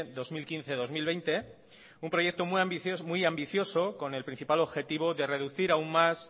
dos mil quince dos mil veinte un proyecto muy ambicioso con el principal objetivo de reducir aún más